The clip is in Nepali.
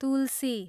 तुलसी